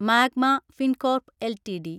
magma Fincorp LTD